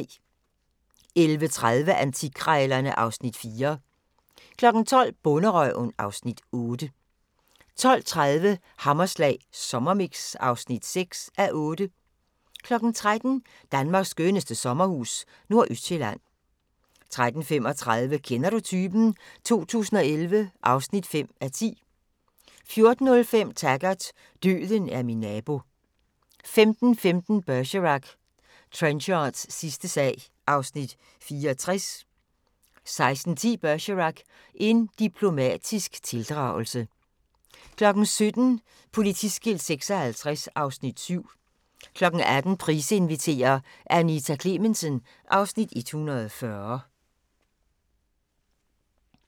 11:30: Antikkrejlerne (Afs. 4) 12:00: Bonderøven (Afs. 8) 12:30: Hammerslag Sommermix (6:8) 13:00: Danmarks skønneste sommerhus – Nordøstsjælland 13:35: Kender du typen? 2011 (5:10) 14:05: Taggart: Døden er min nabo 15:15: Bergerac: Trenchards sidste sag (Afs. 64) 16:10: Bergerac: En diplomatisk tildragelse 17:00: Politiskilt 56 (Afs. 7) 18:00: Price inviterer - Anita Klemensen (Afs. 140)